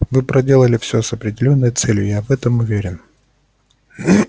вы проделали всё с определённой целью я в этом уверен